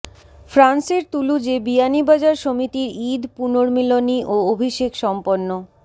ফ্রান্সের তুলুজে বিয়ানীবাজার সমিতির ঈদ পুনর্মিলনী ও অভিষেক সম্পন্ন